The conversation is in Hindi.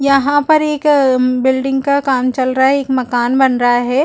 यहाँ पर एक अ म बिल्डिंग का काम चल रहा है। एक मकान बन रहा है।